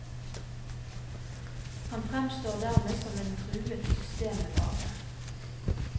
Han fremstår dermed som en truet systembevarer.